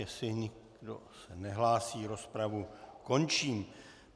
Jestli se nikdo nehlásí, rozpravu končím.